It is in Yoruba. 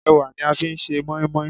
Ẹ̀wà ni a fi ń se mọ́ímọ́í